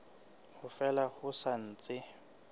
ha fela ho sa ntse